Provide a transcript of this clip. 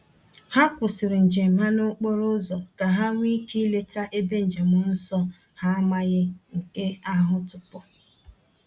Ha kwụsịrị njem ha n’okporo ụzọ ka ha nwee ike ileta ebe njem nsọ ha amaghị nke ahụ tupu.